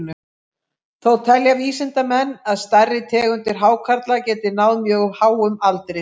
Þó telja vísindamenn að stærri tegundir hákarla geti náð mjög háum aldri.